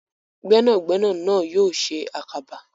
Gbẹ́nàgbẹnà náà yóò ṣe àkàbà.